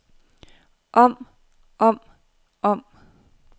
om om om